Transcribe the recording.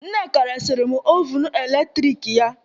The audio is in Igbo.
Nneka resịrị m ovun eletrik ya